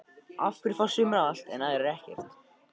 Af hverju fá sumir allt en aðrir ekkert?